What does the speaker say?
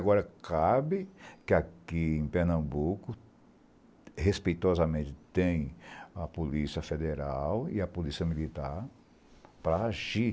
Agora, cabe que aqui em Pernambuco, respeitosamente, tem a Polícia Federal e a Polícia Militar para agir.